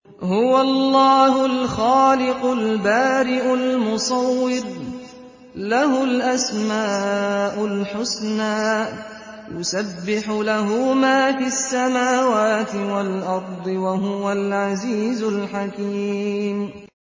هُوَ اللَّهُ الْخَالِقُ الْبَارِئُ الْمُصَوِّرُ ۖ لَهُ الْأَسْمَاءُ الْحُسْنَىٰ ۚ يُسَبِّحُ لَهُ مَا فِي السَّمَاوَاتِ وَالْأَرْضِ ۖ وَهُوَ الْعَزِيزُ الْحَكِيمُ